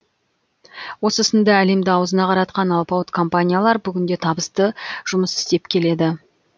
осы сынды әлемді аузына қаратқан алпауыт компаниялар бүгінде табысты жұмыс істеп келеді